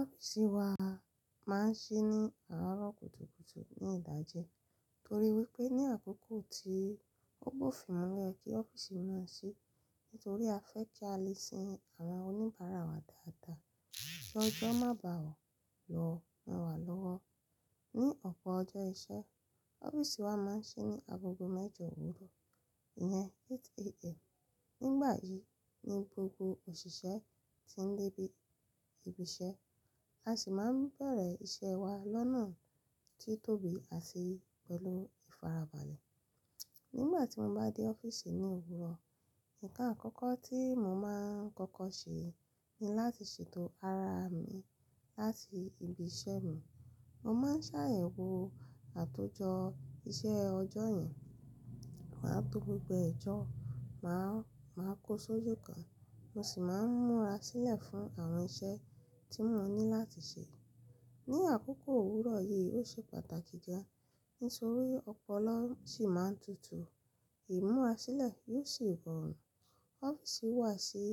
Ọ́fíìsì wa máa ń ṣí ní àárọ̀ kùtùkùtù ní ìdájẹ́ torí wípé ní àkókò tí ó bofin mu lọ́yẹ̀ kí ọ́fíìsì máa ṣí. Nítorí a fẹ́ kí a lè sin àwọn oníbàárà wa dáadáa. Ki ọjọ́ má bá a o lọ mú wa lọ́wọ́. Ni ọ̀pọ̀ ọjọ́ iṣẹ́, ọ́fíìsì wa máa ń ṣí ní agogo mẹ́jọ òwúrọ̀, ìyẹn eight AM. Nígbà yìí ni gbogbo òṣìṣẹ́ ti ń dé bi ibi ìṣe, a sì máa bẹ̀rẹ̀ iṣẹ́ wa lọ́nà tí tóbi àti pẹ̀lú ìfarabalẹ̀. Nígbà tí mo bá dé ọ́fíìsì ní òwúrọ̀, ǹkan àkọ́kọ́ tí mo máa ń kọ́kọ́ ṣe ni láti ṣètò ara mi láti ibi iṣẹ́ mi. Mo máa ń ṣàyẹ̀wò àtòjọ iṣẹ́ ọjọ́ yẹn, máa tó gbogbo ẹ̀jọ̀, máa, máa kó sójú kan, mo sì máa ń múra sílẹ̀ fún àwọn iṣẹ́ tí mo ní láti ṣe. Ni àkókò òwúrọ̀ yìí ó ṣe pàtàkì kan nítorí ọpọlọ sì máa ń tutù. Ìmúra sílẹ̀ yóò sì rọrùn. Ọ́fíìsì wa ṣí,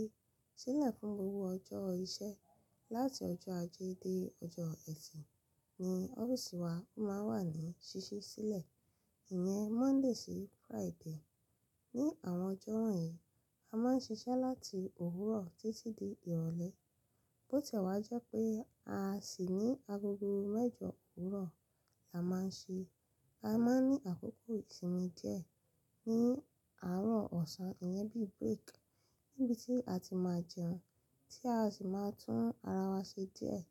ṣí lẹ̀ fún gbogbo ọjọ́ iṣẹ́. Láti ọjọ́ ajé dé ọjọ́ ẹ̀tì ni ọ́fíìsì wa máa ń wà ní ṣíṣí sílẹ̀, ìyẹn Monday sí Friday. Ni àwọn ọjọ́ wọ̀nyí, a máa ń ṣiṣẹ́ láti òwúrọ̀ títí di ìrọ̀lẹ́. Bó ti ẹ̀ wá jẹ́ pé a sì ní agogo mẹ́jọ òwúrọ̀ la máa ń ṣe. A máa ń ní àkókò ìsinmi díẹ̀ ní àárọ̀ ọ̀sán, ìyẹn bí break níbi tí a ti máa jẹun, tí a sì máa tún ara wa ṣe díẹ̀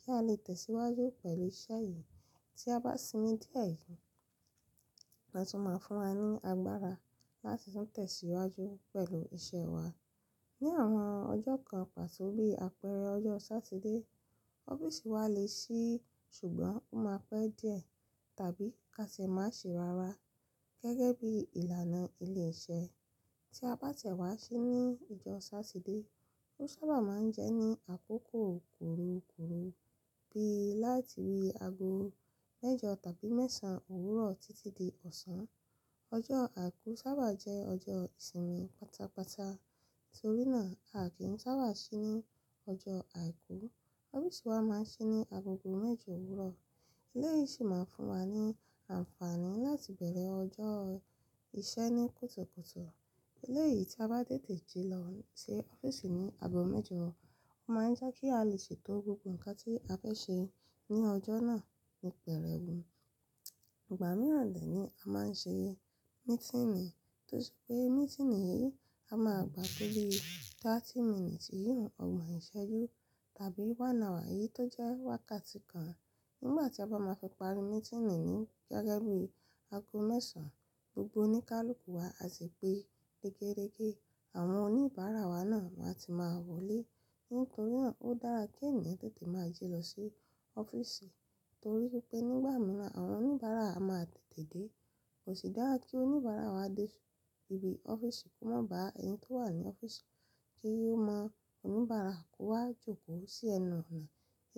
kí a lè tẹ̀síwájú pẹ̀lú iṣẹ́ yìí. Tí a bá sinmi díẹ̀ yìí, ó tún máa ń fún wa ní agbára láti tún tẹ̀síwájú pẹ̀lú iṣẹ́ wa. Ni àwọn ọjọ́ kan pàtó bí àpẹẹrẹ ọjọ́ Sátidé, ọ́fíìsì wa le ṣí ṣùgbọ́n ó máa pẹ́ díẹ̀ tàbí ká ṣe má ṣe rárá gẹ́gẹ́ bí ìlànà ilé iṣẹ́. Tí a bá tiẹ̀ wá ṣí ní ọjọ́ Sátidé, ó sábà máa ń jẹ́ ní àkókò kurukuru bí láti ori aago mẹ́jọ tàbí mẹ́ṣànán òwúrọ̀ títí dé ọ̀sán. Ọjọ́ Àìkú sábà jẹ́ ọjọ́ ìsinmi pátápátá, torínà a kì í sábà ṣí ní ọjọ́ Àìkú. Ọ́fíìsì wa máa ń ṣí ní agogo mẹ́jọ òwúrọ̀. Eleyi yìí sì máa ń fún wa ní àǹfààní láti bẹ̀rẹ̀ ọjọ́ iṣẹ́ ní kùtùkùtù. Eleyi tí a bá tètè ji lọ sí ọ́fíìsì ní ago mẹ́jọ, ó máa ń jẹ́ kí a lè ṣètò gbogbo ǹkan tí a fẹ́ ṣe ní ọjọ́ náà ní pẹ́rẹ́ wù. Ìgbà mìíràn dẹ̀ ni a máa ń ṣe meeting, tó ṣe pé meeting yìí a máa gba tó bí thirty minutes, ìyun ọgbọ̀n ìṣẹ́jú tàbí one hour eyi tó jẹ́ wákàtí kan. Nígbà tí a bá máa fi parí meeting ní gẹ́gẹ́ bí aago mẹ́ṣànán, gbogbo ní kàlùkù wa a sì pé gégéregé. Àwọn oníbàárà wa náà máa ti máa wọlé. Nítorí náà ó dára kí ẹ̀niyan tètè máa ji lọ sí ọ́fíìsì torí wípé nígbà mìíràn àwọn oníbàárà a máa tètè dé. Kò sì dára kí oníbàárà wa dé ibi ọ́fíìsì kó má bá ẹni tó wà ní ọ́fíìsì kí ó mọ oníbàárà kó wá jókòó sí ẹnu ọ̀nà.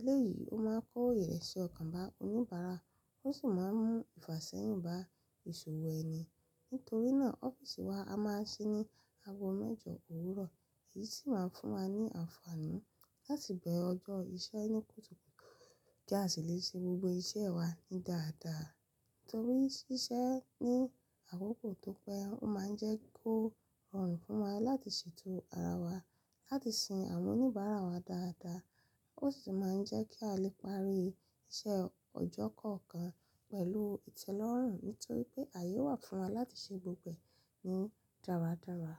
Eléyìí ó máa ń kó ooyẹ̀ rẹ̀ ṣe ọ̀kàn bá oníbàárà, ó sì máa ń mú ìfàsẹ́yìn bá ìṣòwò ẹni. Nítorí náà ọ́fíìsì wa a máa ń ṣí ní ago mẹ́jọ òwúrọ̀ èyí sì máa ń fún wa ní àǹfààní láti bẹ̀ ọjọ́ iṣẹ́ ní kùtùkùtù kí a sì lè ṣe gbogbo iṣẹ́ wa ní dáadáa. Torí ṣíṣẹ́ ní àkókò tó pẹ́ ó máa ń jẹ́ kó rọrùn fún wa láti ṣètò ara wa láti sin àwọn oníbàárà wa dáadáa. Ó sì máa ń jẹ́ kí a lè parí iṣẹ́ ọjọ́ kọ̀ọ̀kan pẹ̀lú ìtẹ́lọ́rùn nítorí pé àyè ó wà fún wa láti ṣe gbogbo ẹ̀ ní dáradára.